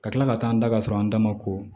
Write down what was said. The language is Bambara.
Ka kila ka taa an da ka sɔrɔ an dama ko